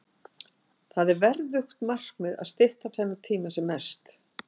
Það er verðugt markmið að stytta þennan tíma sem mest.